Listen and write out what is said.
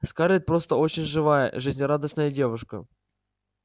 скарлетт просто очень живая жизнерадостная девушка